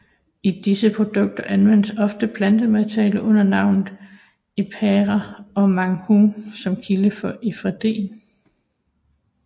I disse produkter anvendes ofte plantemateriale under navnene Ephedra og Ma Huang som kilde for efedrin